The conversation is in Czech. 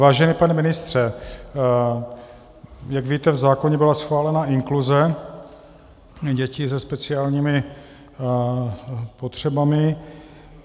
Vážený pane ministře, jak víte, v zákoně byla schválena inkluze dětí se speciálními potřebami.